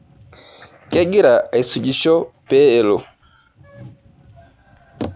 Kegira aisujisho pee elo.